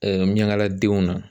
miyaŋala denw na